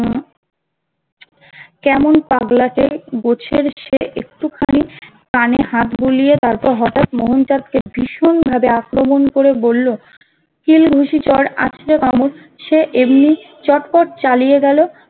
কেমন পাগলাটে গোছের ছেলে একটু খানি কানে হাত বুলিয়ে তারপর হঠাৎ মোহন চাঁদ কে ভীষণ ভাবে আক্রমণ করে বললো কিল, ঘুসি, চোর আছড়ে কামড় সে এমনি চটপট চালিয়ে গেল